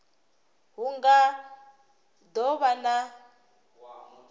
hu nga do vha na